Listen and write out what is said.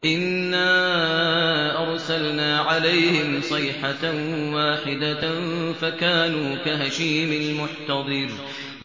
إِنَّا أَرْسَلْنَا عَلَيْهِمْ صَيْحَةً وَاحِدَةً فَكَانُوا كَهَشِيمِ الْمُحْتَظِرِ